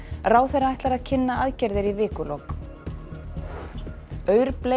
ráðherra ætlar að kynna aðgerðir í vikulok